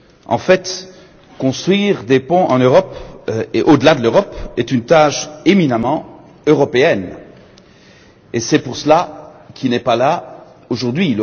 En fait, construire des ponts en Europe, et au delà de l'Europe, est une tâche éminemment européenne et c'est pour cela qu'il n'est pas là aujourd'hui.